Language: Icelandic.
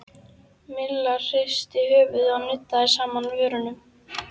Milla hristi höfuðið og nuddaði saman vörunum.